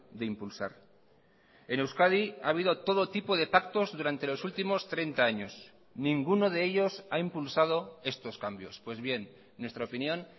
de impulsar en euskadi ha habido todo tipo de pactos durante los últimos treinta años ninguno de ellos ha impulsado estos cambios pues bien en nuestra opinión